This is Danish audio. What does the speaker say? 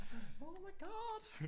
Oh my god!